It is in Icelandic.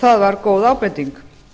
það var góð ábending